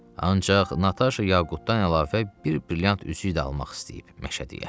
Ancaq Nataşa yaqutdan əlavə bir brilyant üzüyü də almaq istəyib Məşədiyə.